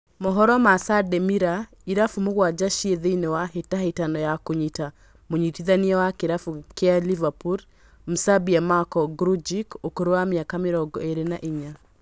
Mohoro ma Sunday mirror, irabu mũgwanja ciĩ thĩinĩ wa hĩtahĩtano ya kũnyita mũnyitithania wa kĩrabu kĩa Liverpool, Mserbia Marko Grujic ũkũrũ wa mĩaka mĩrongo ĩrĩ na inya